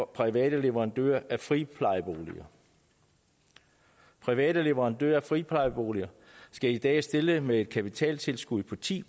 private leverandører af friplejeboliger private leverandører af friplejeboliger skal i dag stille med et kapitaltilskud på ti